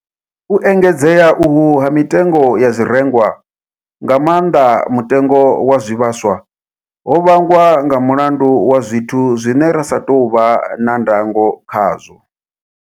U engedzea uhu ha mitengo ya zwirengwa, nga maanḓa mutengo wa zwivhaswa, ho vhangwa nga mulandu wa zwithu zwine ra sa tou vha na ndango khazwo.